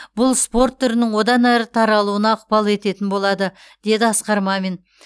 бұл осы спорт түрінің одан әрі таралуына ықпал ететін болады деді асқар мамин